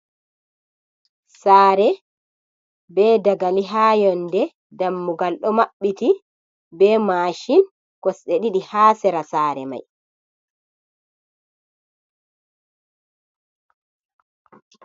Saare be dagali ha yonde, dammugal ɗo maɓɓiti be mashin kosɗe ɗiɗi ha sera sare mai.